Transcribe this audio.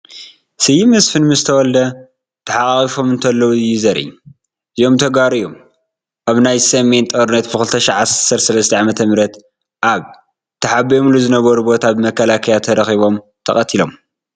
ስዩም መስፍን ምስ ተወልደ ተሓቛቒፎም እንተለዉ እዩ ዘርኢ፡ እዚኦም ተጋሩ እዮም ኣብ ናይ ሰሜን ጦርነት ብ 2013 ዓ/ም ኣብ ተሓቢኦሙሉ ዝነበሩ ቦታ ብመከላከያ ተረኺቦም ተቐቲሎም ።